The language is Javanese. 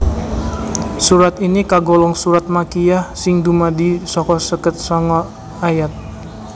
Surat ini kagolong surat makkiyah sing dumadi saka seket sanga ayat